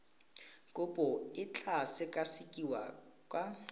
kopo e tla sekasekiwa ka